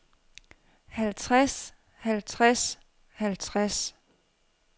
halvtreds halvtreds halvtreds